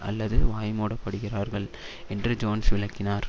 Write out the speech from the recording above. அல்லது வாய்மூடப்படுகிறார்கள் என்று ஜோன்ஸ் விளக்கினார்